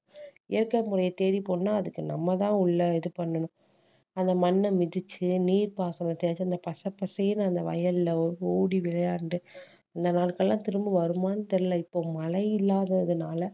இயற்கை முறையை தேடி போனா அதுக்கு நம்ம தான் உள்ள இது பண்ணணும் அந்த மண்ண மிதிச்சு நீர்ப்பாசனம் தேடி அந்த பசப்பசேன்னு அந்த வயல்ல ஓடி விளையாண்டு அந்த நாட்கள் எல்லாம் திரும்ப வருமான்னு தெரியல இப்போ மழை இல்லாததுனால